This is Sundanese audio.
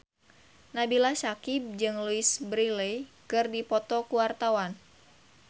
Nabila Syakieb jeung Louise Brealey keur dipoto ku wartawan